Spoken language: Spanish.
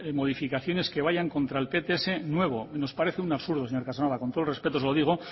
modificaciones que vayan contra el pts nuevo nos parece un absurdo señor casanova con todo respeto se lo digo